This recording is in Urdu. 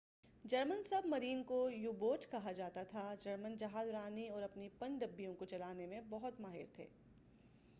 جرمن سب مرین کو یو بوٹ کہا جا تا تھا جرمن جہاز رانی اور اپنی پن ڈبیوں کو چلانے میں بہت ماہر تھے